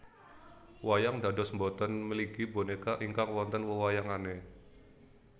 Wayang dados boten mligi bonéka ingkang wonten wewayangané